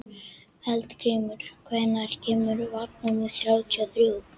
Eldgrímur, hvenær kemur vagn númer þrjátíu og þrjú?